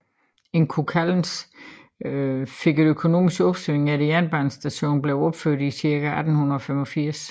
Inčukalns fik et økonomisk opsving efter jernbanestationen blev opført i cirka 1885